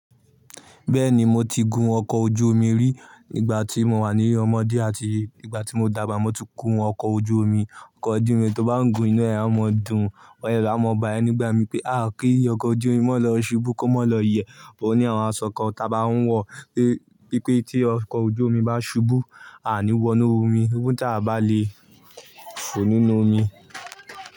Bẹ́ẹ̀ni, mo ti gun ọkọ̀ ojú omi rí nígbà tí mo wà ní ilé ọmọdé àti nígbà tí mo dàgbà. Mo ti gun ọkọ̀ ojú omi. Ọkọ̀ ojú omi tó bá gùn inú ẹ̀ à ń máa dùn. Ọ̀yẹ́ ni a máa ń bá ẹ nígbà mi pé à kí ọkọ̀ ojú omi mọ́ lọ ṣubú kó mọ́ lọ iyẹ̀. O ní àwọn aṣọ kan táa bá ń wọ̀ pé pé tí ọkọ̀ ojú omi bá ṣubú, a à ní wọ inú omi. Ohun tí a bá le fò nínú omi.